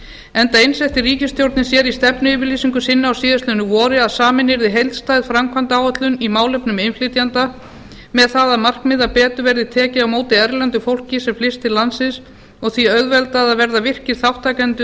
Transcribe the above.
enda einsetti ríkisstjórnin sér í stefnuyfirlýsingu sinni á síðastliðnu vori að samin yrði heildstæð framkvæmdaáætlun í málefnum innflytjenda með það að markmiði að betur verði tekið á móti erlendu fólki sem flyst til landsins og því auðveldað að verða virkir þátttakendur í